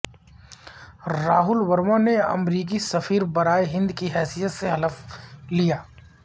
راہول ورما نے امریکی سفیر برائے ہند کی حیثیت سے حلف لیا